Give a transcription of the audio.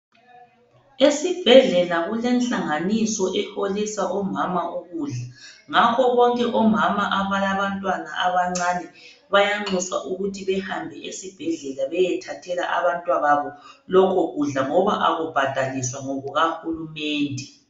Esibhedlela kulehlanganiso eholisa omama ukudla ngakho bonke omama abalabantwana abancane bayanxuswa ukuthi behamba esibhedlela beyethathela abantwababo lokhu kudla ngoba akubhadalwiswa ngokukahulumende.